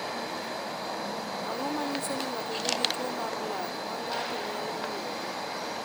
Ang’o ma nyiso ni ng’ato nigi tuwo mar lak ma ng’ato nyalo ng’iyogo?